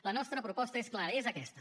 la nostra proposta és clara és aquesta